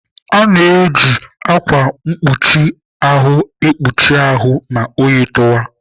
A na-eji ákwà mkpuchi ahụ ekpuchi ahụ ma oyi tụwa.